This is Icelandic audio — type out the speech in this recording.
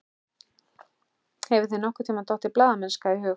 Hefur þér nokkurntíma dottið blaðamennska í hug?